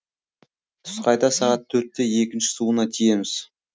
түс қайта сағат төртте екінші суына тиеміз